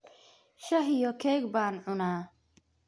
Shaah iyo keeg baan cunaa.